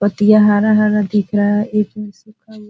पत्तियाँ हरा-हरा दिख रहा है एक में से फल --